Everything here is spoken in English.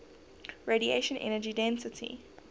radiation energy density